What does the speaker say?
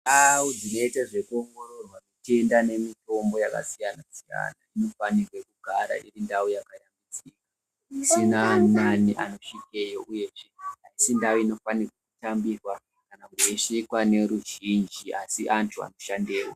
Ndau dzinoite zvekuongororwa mitenda nemitombo yakasiyana siyana dzinofanirwe kugara iri ndau yakayambidziki isina ani nani anosvikeyo uyezve asi ndau inofanire kutamburwa kana yeisvikwa neruzhinji asi antu anoshandeyo.